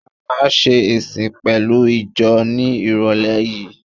A máa ṣe ìsìn pẹ̀lú ìjọ ní ìrọ̀lé yìí.